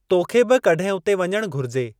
तोखे बि कड॒हिं उते वञणु घुरिजे ।